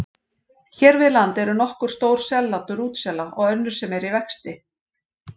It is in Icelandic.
Hér við land eru nokkur stór sellátur útsela og önnur sem eru í vexti.